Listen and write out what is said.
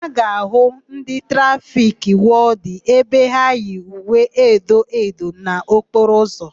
A ga-áhụ̀ ndị trafiki wọdịnụ ebe ha yi uwe edo edo n'okporo ụzọ.